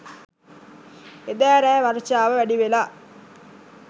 එදා රෑ වර්ෂාව වැඩිවෙලා